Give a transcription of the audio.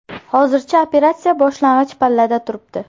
Hozircha operatsiya boshlang‘ich pallada turibdi.